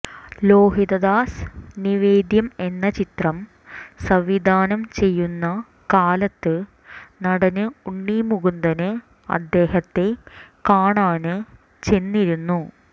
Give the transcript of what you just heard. ലോഹിതദാസ് നിവേദ്യം എന്ന ചിത്രം സംവിധാനം ചെയ്യുന്ന കാലത്ത് നടന് ഉണ്ണി മുകുന്ദന് അദ്ദേഹത്തെ കാണാന് ചെന്നിരുന്നു